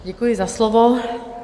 Děkuji za slovo.